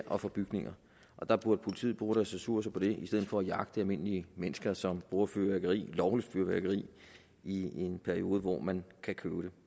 og for bygninger og der burde politiet bruge deres ressourcer på det i stedet for jagte almindelige mennesker som bruger lovligt fyrværkeri i en periode hvor man kan købe det